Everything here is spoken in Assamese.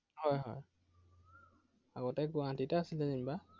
হয় হয়। আগতে গুৱাহাটীতে আছিলে যেনিবা।